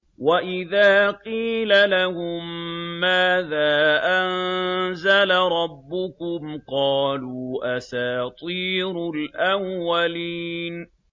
وَإِذَا قِيلَ لَهُم مَّاذَا أَنزَلَ رَبُّكُمْ ۙ قَالُوا أَسَاطِيرُ الْأَوَّلِينَ